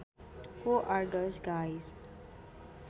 Who are those guys